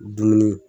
Dumuni